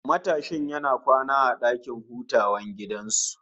Matashin yana kwana a dakin hutawan gidan su